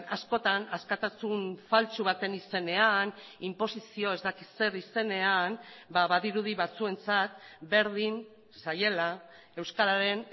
askotan askatasun faltsu baten izenean inposizio ez dakit zer izenean badirudi batzuentzat berdin zaiela euskararen